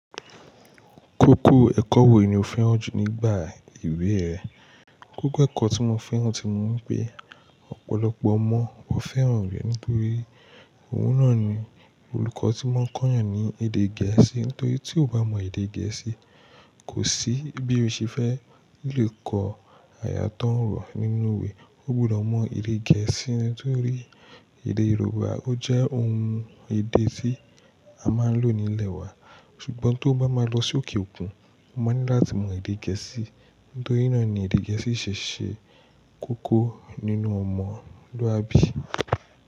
Kókó ẹ̀kọ́ wo ni o fẹ́ràn jù nígbà ìwé rẹ? Kókó ẹ̀kọ́ tí mo fẹ́ràn ti ni pé ọ̀pọ̀lọpọ̀ ọmọ ò fẹ́ràn rẹ̀ nítorí òun náà ni olùkọ́ ti máa ń kọ́ èèyàn ní èdè Gẹ̀ẹ́sì. Nítorí tí o bá mọ èdè Gẹ̀ẹ́sì, kò sí bí o ṣe fẹ́ lè kọ àyà tó orọ nínú iwe. Ọ gbọdọ mọ èdè gèésì nitorí èdè Yorùbá o je òun èdè ti a má n lo nílé wa, sùgbón to bá ma lo sí òkè òkun o ma ni lati mọ èdè gẹ̀ẹ́sì nítorí náà ni èdè Gẹ̀ẹ́sì ṣe ṣe kókó nínú ọmọlúwàbí.